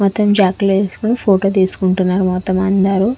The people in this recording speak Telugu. మొత్తం జాకెట్లు వేసుకొని ఫోటోలు తీసుకుంటున్నారు మొత్తం అందరూ.